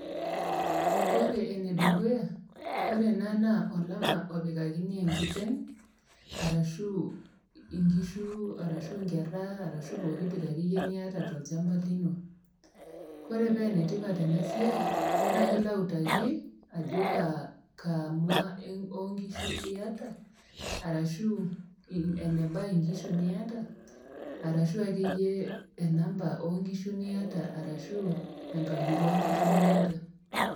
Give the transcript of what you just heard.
ore enedukuya ore ena naa olama opikakini enkiteng arashu inkishu arashu inkerra arashu pokitoki akeyie niata tolchamba lino kore paa enetipat ena siai naa kilo autaki ajo kaa, kaa mua onkishu iyata arashu eneba inkishu niata arashu akeyie enamba onkishu niata arashu enkabila onkishu niata.